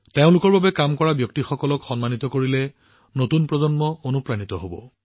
তেওঁলোকৰ বাবে কাম কৰা ব্যক্তিসকলক সন্মান জনোৱাটোৱে নতুন প্ৰজন্মকো অনুপ্ৰাণিত কৰিব